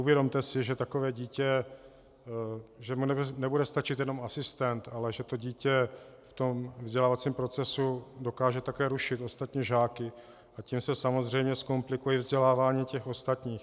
Uvědomte si, že takové dítě, že mu nebude stačit jenom asistent, ale že to dítě v tom vzdělávacím procesu dokáže také rušit ostatní žáky, a tím se samozřejmě zkomplikuje vzdělávání těch ostatních.